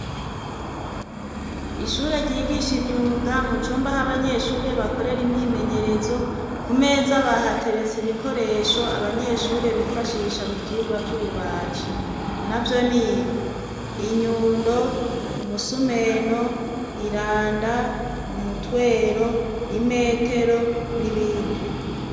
Ishure ryigisha imyuga mu cumba c'abanyeshuri bakorera imyimenyerezo ku meza bahateretse ibikoresho abanyeshuri bifashisha mu vyigwa by'ububaji na byo n'ibi inyundo umusumeno iranda umutwero imetero n'ibindi.